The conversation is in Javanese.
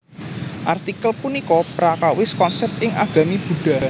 Artikel punika prakawis konsèp ing agami Buddha